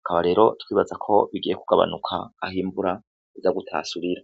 akaba rero twibaza ko bigiye kugabanuka aho imvura iza gutasurira.